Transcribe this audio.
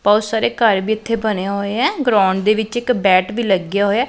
ਬਹੁਤ ਸਾਰੇ ਘਰ ਵੀ ਇੱਥੇ ਬਣੇ ਹੋਏ ਆ ਗਰਾਉਂਡ ਦੇ ਵਿੱਚ ਇੱਕ ਬੈਟ ਵੀ ਲੱਗਿਆ ਹੋਇਆ ਏ।